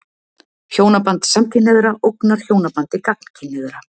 Hjónaband samkynhneigðra ógnar hjónabandi gagnkynhneigðra.